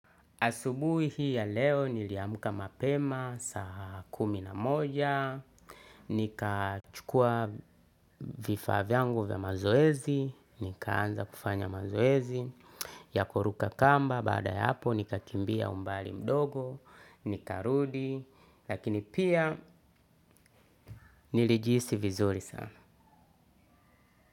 Asubuhi hii ya leo niliamka mapema saa kumi na moja nikachukua vifaa vyangu vya mazoezi, nikaanza kufanya mazoezi, ya kuruka kamba, baada ya hapo nikakimbia umbali mdogo, nikarudi, lakini pia nilijihisi vizuri sana.